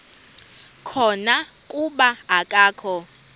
khona kuba akakho